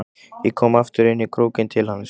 Ég kom aftur inn í krókinn til hans.